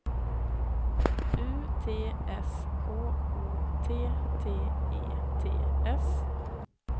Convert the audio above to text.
U T S K O T T E T S